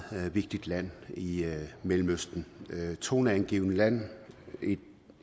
vigtigt land i i mellemøsten det er et toneangivende land